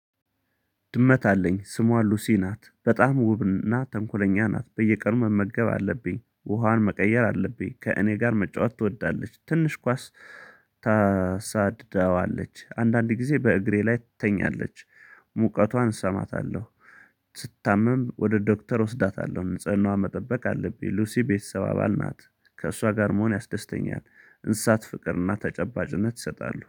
ድመት አለኝ ስሟ ሉሲ ናት በጣም ውብና ተንኮለኛ ናት በየቀኑ መመገብ አለብኝ ውሃን መቀየር አለብኝ ከእኔ ጋር መጫወት ትወዳለች ትንሽ ኳስ። ታሳድዳዋለች አንዳንድ ጊዜ በእግሬ ላይ ትተኛለች። ሙቀቷን እሰማታለሁ። ስትታመም ወደ ዶክተር ወስዳታለሁ ንጽህናዋ መጠበቅ አለብኝ። ሉሲ ቤተሰብ አባል ናት። ከእሷ ጋር መሆን ያስደስተኛል። እንስሳት ፍቅርና ተጨባጭነት ይሰጣሉ